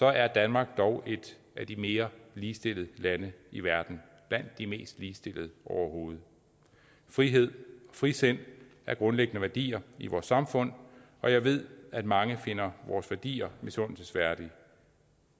er danmark dog et af de mere ligestillede lande i verden blandt de mest ligestillede overhovedet frihed og frisind er grundlæggende værdier i vores samfund og jeg ved at mange finder vores værdier misundelsesværdige